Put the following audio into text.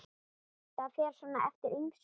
Það fer svona eftir ýmsu.